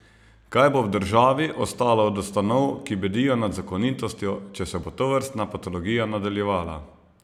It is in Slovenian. Kaj bo v državi ostalo od ustanov, ki bedijo nad zakonitostjo, če se bo tovrstna patologija nadaljevala?